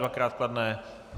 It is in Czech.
Dvakrát kladné.